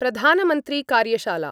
प्रधानमन्त्रीकार्यशाला